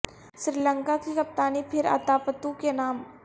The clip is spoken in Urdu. سری لنکا کی کپتانی پھر اتا پتو کے نام